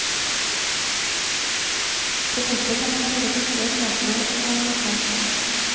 På kortet kan man kjøre busser, metro og lokaltog.